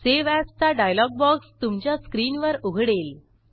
save ऍजचा dialog box तुमच्या स्क्रीनवर उघडेल